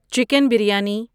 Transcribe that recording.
chicken biryani